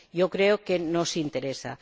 Creo que nos interesa.